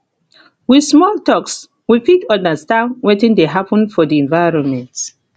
with small talks we fit understand wetin de happen for the environment